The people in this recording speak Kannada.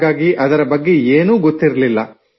ಹಾಗಾಗಿ ಅದರ ಬಗ್ಗೆ ಏನೂ ಗೊತ್ತಿರಲಿಲ್ಲ